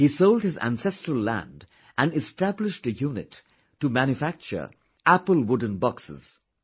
He sold his ancestral land and established a unit to manufacture Apple wooden boxes